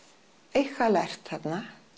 eitthvað lært þarna